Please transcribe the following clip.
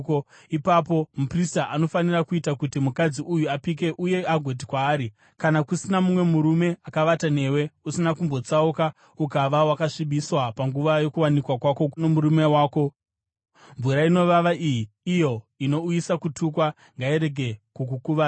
Ipapo muprista anofanira kuita kuti mukadzi uyu apike uye agoti kwaari, “Kana kusina mumwe murume akavata newe uye usina kumbotsauka ukava wakasvibiswa panguva yokuwanikwa kwako nomurume wako, mvura inovava iyi, iyo inouyisa kutukwa, ngairege kukukuvadza.